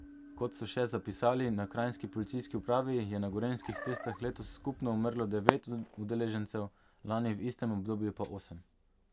Kot so še zapisali na kranjski policijski upravi, je na gorenjskih cestah letos skupno umrlo devet udeležencev, lani v istem obdobju pa osem.